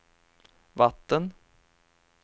vatten